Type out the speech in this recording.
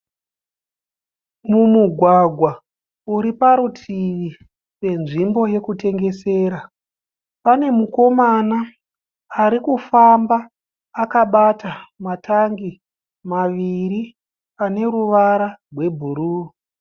Mumugwagwa uri parutivi penzvimbo yekutengesera, pane mukomana arikufamba akabata matangi maviri ane ruvara rwebhuruu